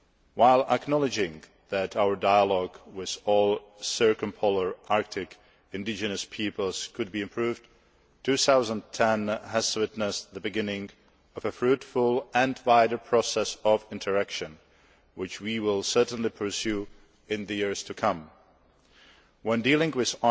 While we acknowledge that our dialogue with all circumpolar Arctic indigenous peoples could be improved, 2010 has witnessed the beginning of a fruitful and wider process of interaction, which we will certainly pursue in the years to come. When dealing with